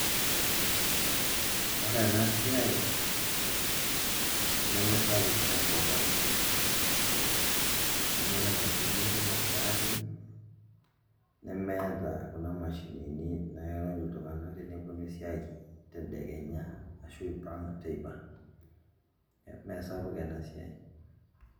Ore ena siai nemesapuk tenkop ang' amu ore inkampunini kumok naatii nemeeta kuna mashinini nairony iltung'anak teneponu esiai tedekenya arashu iipang' teipa, mee sapuk ena siai.